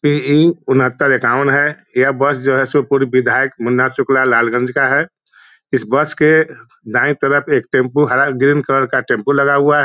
पे ए उनहत्तर एकावन है यह बस जो है शिवपुरी विधायक मुन्ना शुक्ला लालगंज का है इस बस के दाई तरफ एक टैम्पू हरा ग्रीन कलर का टैम्पू लगा हुआ है।